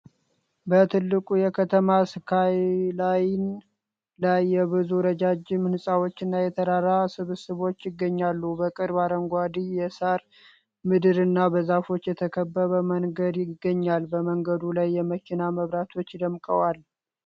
በትልቁ የከተማ ስካይላይን ላይ የብዙ ረጃጅም ህንፃዎችና የተራራ ስብስብ ይገኛሉ። በቅርብ፣ አረንጓዴ የሳር ምድርና በዛፎች የተከበበ መንገድ ይገኛል፡፡ በመንገዱ ላይ የመኪና መብራቶች ደምቀዋል።